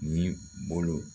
Ni bolo